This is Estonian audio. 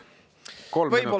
Kolm minutit lisaaega.